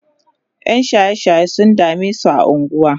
ƴan shaye shaye sun damesu a unguwa